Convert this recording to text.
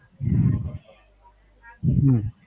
હમ